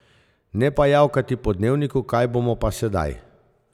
Ne pa javkati po dnevniku kaj bomo pa sedaj.